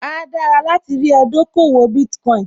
Áá dára láti rí ẹ dókòwò Bitcoin